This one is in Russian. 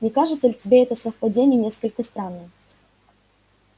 не кажется ли тебе это совпадение несколько странным